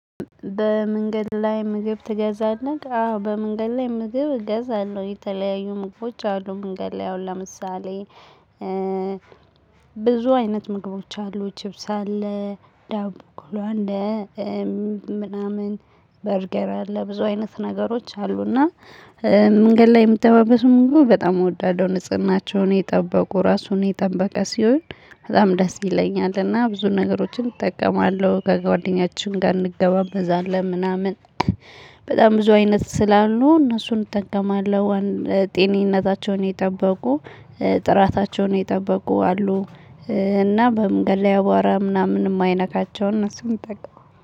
በመንገድ ላይ ምግብ ትገዛለህ? አዎ በመንገድ ላይ ምግብ እገዛለሁ የተለያዩ ምግቦች አሉ መንገድ ላይ አሁን ለምሳሌ ብዙ አይነት ምግቦች አሉ ችብስ አለ ዳቦ ቆሎ እም ምናምን በርገር አለ ብዙ አይነት ነገሮች አሉና መንገድ ላይ የሚጠባበሱ ምግቦች በጣም እወዳለሁ ንጽህናቸውን የጠበቁ ራሱን የጠበቀ ሲሆን በጣም ደስ ይለኛል እና ብዙ ነገሮችን እጠቀማለሁ ከጓደኛችን ጋር እንገባበዛለን ምናምን በጣም ብዙ አይነት ስላሉ እነሱን እጠቀማለሁ ጤናቸውን የጠበቁ ጥራታቸውን የጠበቁ አሉ እና በመንገድ ላይ አቧራ ምናምን የማይነካቸውን እነሱን እጠቀማለው